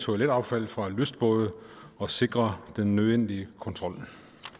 toiletaffald fra lystbåde og sikre den nødvendige kontrol